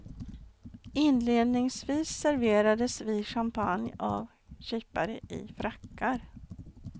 Inledningsvis serverades vi champagne av kypare i frackar.